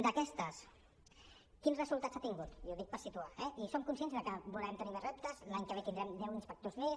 d’aquestes quins resultats ha tingut i ho dic per situar eh i som conscients de que volem tenir més reptes l’any que ve tindrem deu inspectors més